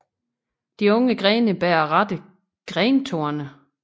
De unge grene bærer rette grentorne